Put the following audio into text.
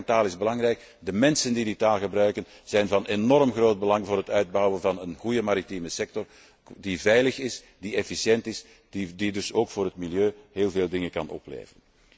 Het gebruik van taal is belangrijk, de mensen die die taal gebruiken zijn van enorm groot belang voor het uitbouwen van een goede maritieme sector die veilig is, die efficiënt is en die dus ook voor het milieu heel veel dingen kan opleveren.